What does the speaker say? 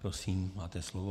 Prosím, máte slovo.